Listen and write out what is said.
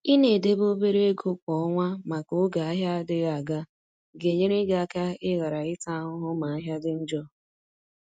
i na edebe obere ego kwa ọnwa maka oge ahịa adịghị aga. ga-enyere gị aka i ghara ịta ahụhụ ma ahịa dị njọ.